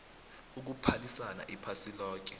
ukuphalisana iphasi loke